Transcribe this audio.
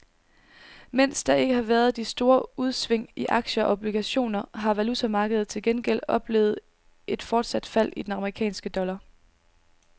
Mens der ikke har været de store udsving i aktier og obligationer har valutamarkedet til gengæld oplevet et fortsat fald i den amerikanske dollar.